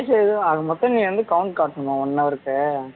ஆக மொத்தம் நீ வந்து count காட்டணுமா one-hour க்கு